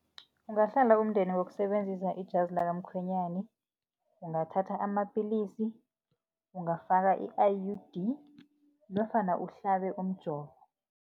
Ungahlala umndeni ngokusebenzisa ijazi lakamkhwenyani, ungathatha amapilisi, ungafaka i-I_U_D nofana uhlabe umjovo.